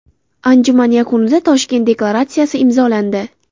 Anjuman yakunida Toshkent deklaratsiyasi imzolandi.